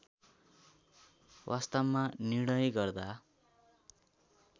वास्तवमा निर्णय गर्दा